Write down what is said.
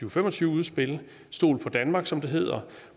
og fem og tyve udspil stol på danmark som det hedder